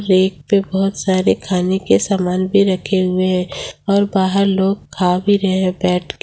Plate पे बहोत सारे खाने के सामान भी रखे हुए हैं और बाहर लोग खा भी रहे हैं बैठ के।